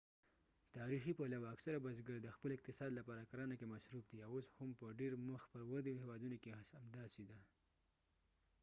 تاریخي پلوه اکثره بزګر د خپل اقتصاد لپاره کرنه کې مصروف دي او اوس هم په ډیر مخ پر ودې هیوادونو کې همداسې ده